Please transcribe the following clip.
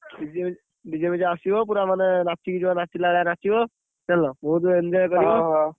DJ ଆସିବ ପୁରାଯିବ ନାଚିକି ଯିବ ନାଚିଲା ଭଳିଆ ନାଚିବ, ଜାଣିଲ ବହୁତ enjoy କରିବ।